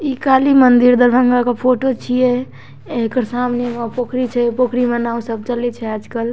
ई काली मंदिर दरभंगा के फोटो छिये एकर सामने एगो पोखरी छे पोखरी में नाव सब चलई छे आज कल।